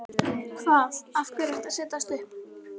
Hvað. af hverju ertu að setjast upp?